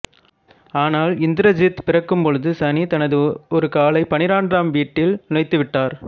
ஆனால் இந்திரசித்து பிறக்கும் பொழுது சனி தனது ஒரு காலைப் பன்னிரண்டாம் வீட்டில் நுழைத்துவிட்டார்